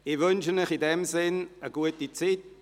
Ich wünsche Ihnen eine gute Zeit.